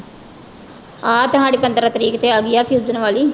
ਆਹ ਤੇ ਸਾਡੀ ਪੰਦਰਾਂ ਤਰੀਕ ਤੇ ਆ ਗਈ ਆ ਵਾਲੀ